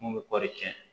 Mun bɛ kɔɔri tiɲɛ